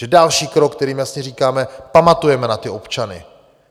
Takže další krok, kterým jasně říkáme: Pamatujeme na ty občany.